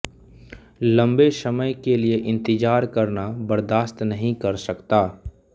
लंबे समय के लिए इंतजार करना बर्दाश्त नहीं कर सकता